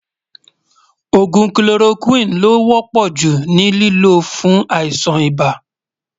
ògún kiloroquine ló wò pò jù ní lìló fún àìsàn ibà